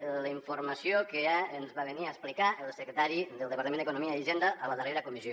la informació que ens va venir a explicar el secretari del departament d’economia i hisenda a la dar·rera comissió